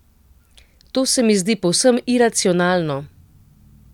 To se mi zdi povsem iracionalno.